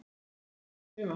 Þú gafst mér eitt sumar.